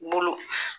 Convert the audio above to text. Bolo